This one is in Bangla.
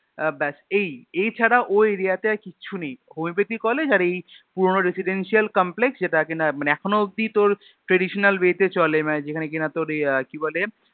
আহ ব্যাস এই, এই ছাড়া ওই Area তে আর কিচ্ছু নেই Homeopathy college আর এই পুরোনো Residential Complex যেটা কিনা মানে এখনও অব্ধি তোর Traditional way তে চলে মানে যেখানে কিনা তোর আহ কি বলে